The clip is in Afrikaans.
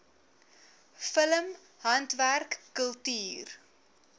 film handwerk kultuur